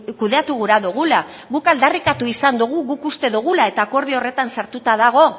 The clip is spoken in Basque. kudeatu gura dugula guk aldarrikatu izan dugu guk uste dugula eta akordio horretan sartuta dago